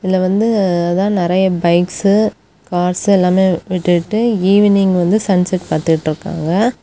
இதுல வந்து அதா நிறைய பைக்ஸ்சு கார்ஸ்சு எல்லாமே விட்டுட்டு ஈவினிங் வந்து சன்செட் பாத்துட்டுருக்காங்க.